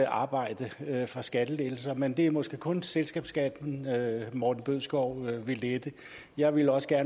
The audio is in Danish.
arbejde for skattelettelser men det er måske kun selskabsskatten morten bødskov vil lette jeg vil også